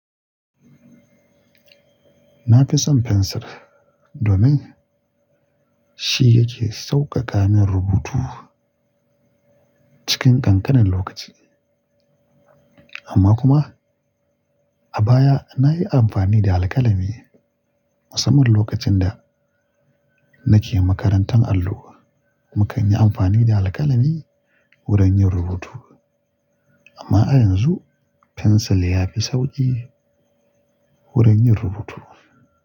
Na fi son fensir domin shi yake sauƙaƙa min rubutu cikin ƙanƙanin lokaci. Amma kuma a baya nayi amfani da alkalami musamman lokacin da nake makarantar allo. Mukan yi amfani da alkalami wurin yin rubutu amma a yanzu fensir yafi sauƙi wurin yin rubutu.